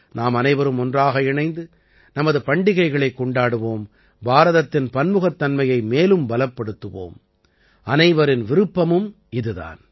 நாம் அனைவரும் ஒன்றாக இணைந்து நமது பண்டிகைகளைக் கொண்டாடுவோம் பாரதத்தின் பன்முகத்தன்மையை மேலும் பலப்படுத்துவோம் அனைவரின் விருப்பமும் இது தான்